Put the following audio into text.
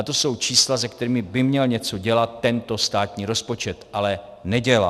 A to jsou čísla, se kterými by měl něco dělat tento státní rozpočet, ale nedělá.